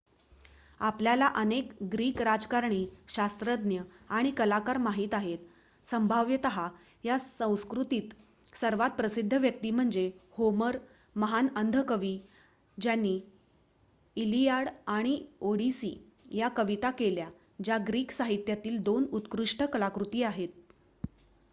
आपल्याला अनेक ग्रीक राजकारणी शास्त्रज्ञ आणि कलाकार माहित आहेत संभाव्यत या संस्कृतीत सर्वात प्रसिद्ध व्यक्ती म्हणजे होमर महान अंध कवी ज्यांनी इलियाड आणि ओडिसी या कविता केल्या ज्या ग्रीक साहित्यातील 2 उत्कृष्ट कलाकृती आहेत